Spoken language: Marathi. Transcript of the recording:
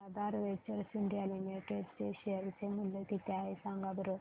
आज आधार वेंचर्स इंडिया लिमिटेड चे शेअर चे मूल्य किती आहे सांगा बरं